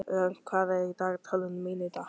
Rögn, hvað er í dagatalinu mínu í dag?